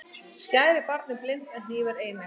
Skæri gera barnið blint en hnífur eineygt.